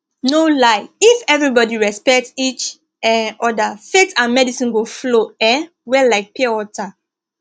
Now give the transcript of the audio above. no lie if everybody respect each um other faith and medicine go flow um well like pure water